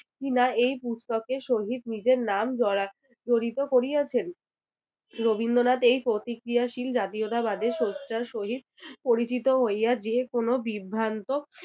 কি-না এই পুস্তকের সহিত নিজের নাম জরাক~ জড়িত করিয়াছেন? রবীন্দ্রনাথ এই প্রতিক্রিয়াশীল জাতীয়তাবাদের সত্তার সহিত পরিচিত হইয়া যেকোনো বিভ্রান্ত